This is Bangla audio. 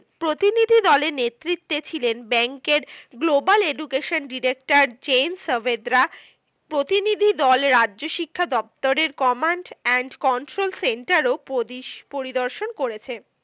প্রতিনিধি দলের নেতৃত্বে ছিলেন ব্যাঙ্কের global education director জেন সাভদ্রা। প্রতিনিধি দল রাজ্য শিক্ষা দপ্তরের command and control centre ও পরি~ পরিদর্শন করেছেন।